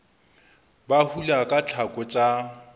ba hula ka tlhako tsa